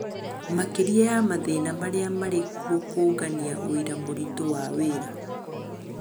Makĩria ya mathĩna marĩa marĩkuo kũũngania ũira mũritũ wa wĩra